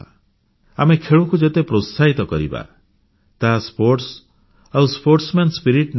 ଆମେ ଖେଳକୁ ଯେତେ ପ୍ରୋତ୍ସାହିତ କରିବା ତାହା କ୍ରୀଡା ଆଉ କ୍ରୀଡା ଉତ୍ସାହ ନେଇ ଆସିବ